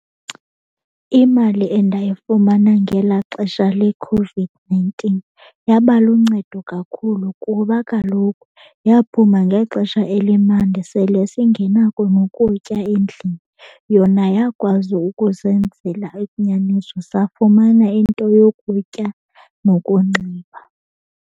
Imali endayifumana ngelaa xesha leCOVID-nineteen yaba luncedo kakhulu kuba kaloku yaphuma ngexesha elimandi sele singenako nokutya endlini. Yona yakwazi ukusenzela safumana into yokutya nokunxiba.